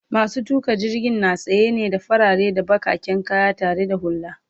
masu tuƙa jirgin na sanye ne da farare da bakaken kaya tare da hulla